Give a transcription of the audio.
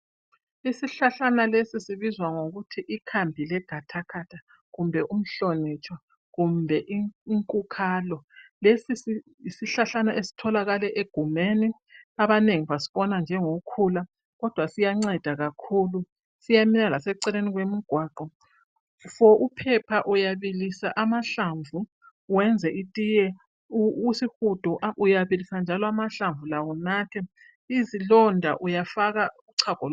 isihlahlana lesi sibizwa ngokuthi ikhambilegathagatha kumbe umhlonitshwa kumbe inkukhalo lesi yisihlahlana esitholakala egumeni abanengi basibona njengokhula kodwa siyanceda kakhulu siyamila laseceleni kwemigwaqo for uphepha uyabilisa amahlamvu wenze itiye isihudo uyabilisa njalo amahlamvu lawo unathe izilonda uyafaka uchago